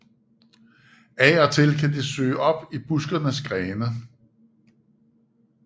Af og til kan de søge op i buskenes grene